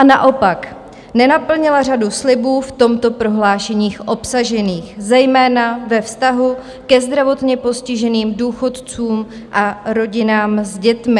A naopak, nenaplnila řadu slibů v tomto prohlášení obsažených, zejména ve vztahu ke zdravotně postiženým důchodcům a rodinám s dětmi.